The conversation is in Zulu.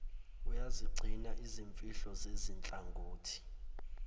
uyazigcina izimfihlo zezinhlangothi